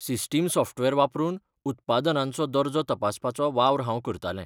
System software वापरून उत्पादनांचो दर्जो तपासपाचो वावर हांव करतालें.